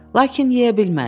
Lakin yeyə bilmədi.